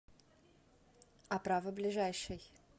оправа ближайший